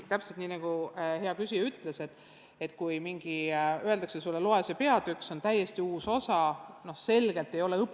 Täpselt nii, nagu hea küsija ütles, et kui sulle öeldakse, et loe see peatükk läbi, see on täiesti uus osa, siis on selge, et õpilane ei pruugi kõike mõista.